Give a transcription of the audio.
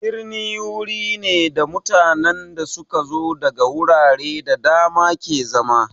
Birni wuri ne da mutanen da su ka zo daga wurare da dama ke zama.